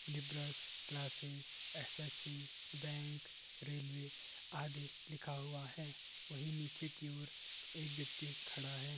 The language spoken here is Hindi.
लीबर्स क्लासिस एस.एस.सी बैंक रेलवे आदि लिखा हुआ है। वहीं निचे की ओर एक व्यक्ति खड़ा है।